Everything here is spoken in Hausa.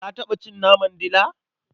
Ka taɓa cin naman dila?